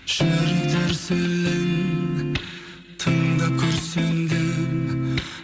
жүрек дүрсілін тыңдап күрсіндім